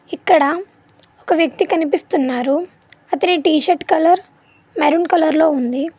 ఇక్కడ ఒక వ్యక్తి కనిపిస్తున్నారు అతని టీషర్ట్ కలర్ మెరూన్ కలర్ లో ఉంది.